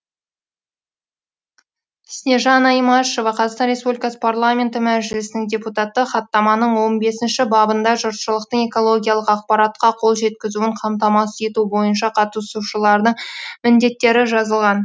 снежана имашева қазақстан республикасы парламенті мәжілісінің депутаты хаттаманың он бесінші бабында жұртшылықтың экологиялық ақпаратқа қол жеткізуін қамтамасыз ету бойынша қатысушылардың міндеттері жазылған